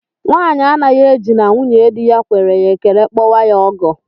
Nwanyi anaghị eji na nwunyedi ya kwere ya ekele kpọwa ya ọgọ